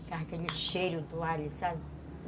ficava aquele cheiro do alho, sabe?